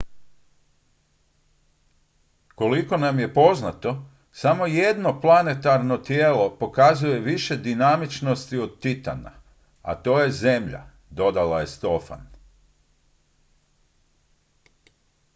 koliko nam je poznato samo jedno planetarno tijelo pokazuje više dinamičnosti od titana a to je zemlja dodala je stofan